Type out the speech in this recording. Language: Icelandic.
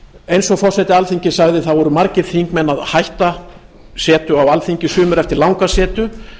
eins og forseti alþingis sagði eru margir þingmenn að hætta setu á alþingi sumir eftir lang setu